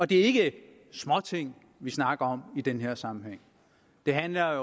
det er ikke småting vi snakker om i den her sammenhæng det handler